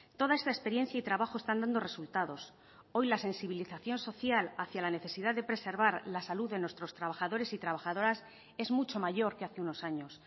toda esta experiencia y trabajo están dando resultados hoy la sensibilización social hacia la necesidad de preservar la salud de nuestros trabajadores y trabajadoras es mucho mayor que hace unos años